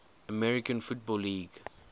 american football league